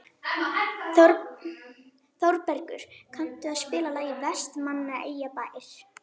Þorbergur, kanntu að spila lagið „Vestmannaeyjabær“?